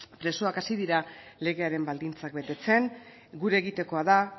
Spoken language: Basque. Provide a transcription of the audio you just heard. presoak hasi dira legearen baldintzak betetzen gure egitekoa da